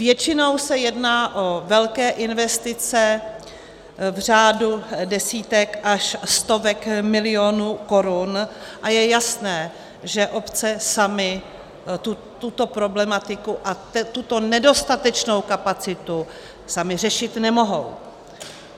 Většinou se jedná o velké investice v řádu desítek až stovek milionů korun a je jasné, že obce samy tuto problematiku a tuto nedostatečnou kapacitu samy řešit nemohou.